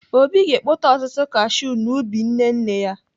Obi ga-ekpote ọtụtụ kashiu n'ubi nne nne ya.